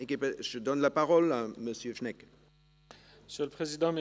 Ich muss mir noch überlegen, wie ich es will, aber es ist gut.